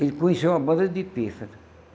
Ele conheceu uma banda de pife.